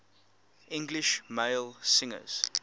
english male singers